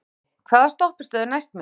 Röggi, hvaða stoppistöð er næst mér?